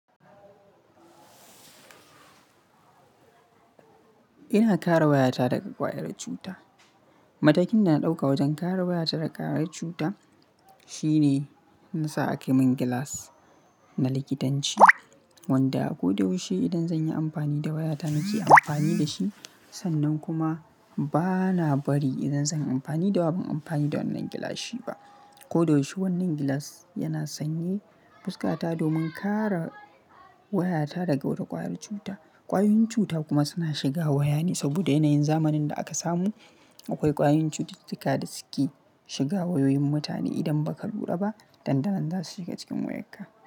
Ina kare wayata daga ƙwayar cuta. Matakin da na ɗauka wajen kare wayata daga ƙwayar cuta shine na sa aka yi min gilas na likitanci wanda ko da yaushe idan zan yi amfani da wayata nake amfani da shi. Sannan kuma ba na bari idan zan yi amfani da waya, ban yi amfani da wannan gilashi ba. Ko da yaushe wannan gilas yana sanye fuska ta domin kare wayata daga wata ƙwayar cuta. Ƙwayoyin cuta kuma suna shiga waya ne saboda yanayin zamanin da aka samu. Akwai ƙwayoyin cututtuka da suke shiga wayoyin mutane idan ba ka lura ba. Dandanan za su shiga cikin wayarka.